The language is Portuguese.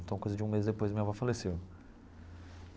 Então, coisa de um mês depois, minha avó faleceu.